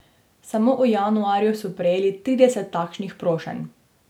Samo v januarju so prejeli trideset takšnih prošenj.